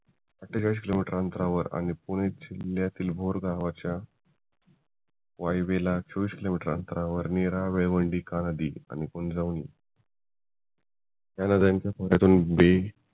आठठेचाळीस kilometre अंतरावर आणि पुणे जिल्ह्यातील भोर गावाच्या वायव्येला चोवीस किलोमीटर अंतरावर नीरा नदी आणि इंद्रायणी ह्या नद्यांच्या